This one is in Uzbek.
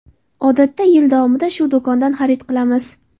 Odatda yil davomida shu do‘kondan xarid qilamiz.